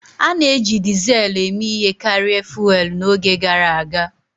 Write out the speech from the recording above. A na-eji Dizelu eme ihe karịa fụ́élú n'oge gara aga